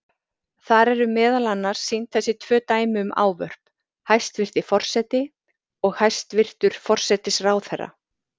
Þar eru meðal annars sýnd þessi tvö dæmi um ávörp: hæstvirti forseti og hæstvirtur forsætisráðherra.